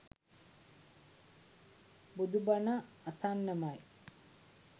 බුදුබණ අසන්නමයි.